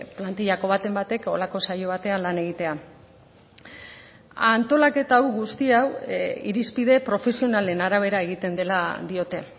plantillako baten batek horrelako saio batean lan egitea antolaketa guzti hau irizpide profesionalen arabera egiten dela diote